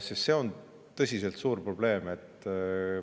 Sest see on tõsiselt suur probleem.